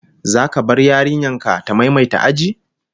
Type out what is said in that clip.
Zaka bar yarinyar ka ta maimaita aji?